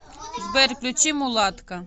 сбер включи мулатка